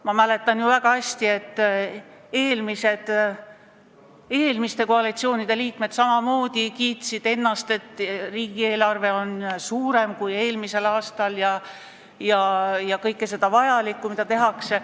Ma mäletan väga hästi, et eelmiste koalitsioonide liikmed samamoodi kiitsid ennast, et riigieelarve on suurem kui eelmisel aastal, toonitades kõike vajalikku, mida tehakse.